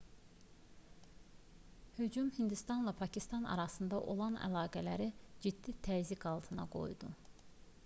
hücum hindistanla pakistan arasında olan əlaqələri ciddi təzyiq altında qoydu